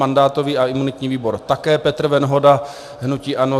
Mandátový a imunitní výbor také Petr Venhoda, hnutí ANO.